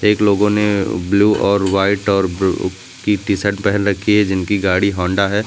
एक लोगों ने ब्लू और व्हाइट और ब्रू की टी शर्ट पहन रखी है जिनकी गाड़ी होंडा है।